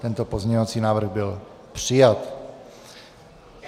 Tento pozměňovací návrh byl přijat.